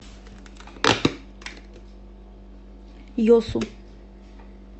йосу